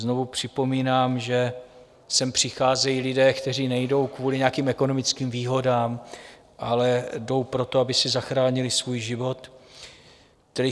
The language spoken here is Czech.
Znovu připomínám, že sem přicházejí lidé, kteří nejdou kvůli nějakým ekonomickým výhodám, ale jdou proto, aby si zachránili svůj život.